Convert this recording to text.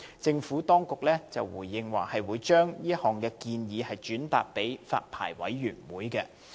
政府當局在回應時表示，會把這些建議轉達發牌委員會。